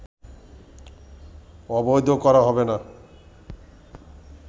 অবৈধ করা হবে না